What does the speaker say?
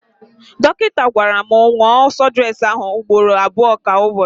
Dọkịta gwara m nwụọ súdúres ahụ ugboro abụọ kwa Ụbọchị.